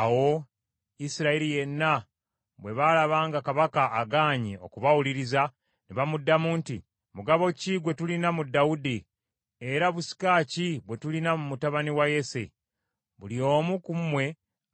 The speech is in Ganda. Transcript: Awo Isirayiri yenna bwe baalaba nga kabaka agaanye okubawuliriza, ne bamuddamu nti, “Mugabo ki gwe tulina mu Dawudi, era busika ki bwe tulina mu mutabani wa Yese? Buli omu ku mmwe,